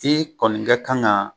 Di kɔni ga kan ka